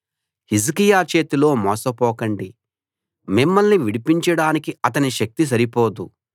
హిజ్కియా చేతిలో మోసపోకండి మిమ్మల్ని విడిపించడానికి అతని శక్తి సరిపోదు